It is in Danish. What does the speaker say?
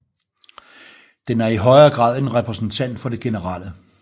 Den er i højere grad en repræsentant for det generelle